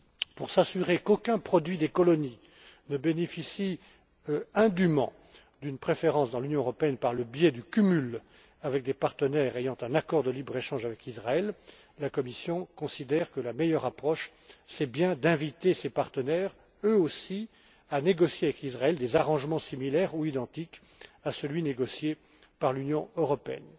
Pour s'assurer qu'aucun produit des colonies ne bénéficie indûment d'une préférence dans l'Union européenne par le biais du cumul avec des partenaires ayant un accord de libre échange avec Israël, la Commission considère que la meilleure approche consiste à inviter ces partenaires, eux aussi, à négocier avec Israël des arrangements similaires ou identiques à celui négocié par l'Union européenne.